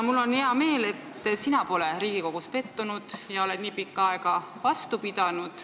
Mul on hea meel, et sina pole Riigikogus pettunud ja oled nii pikka aega vastu pidanud.